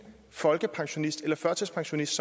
folkepensionist eller førtidspensionist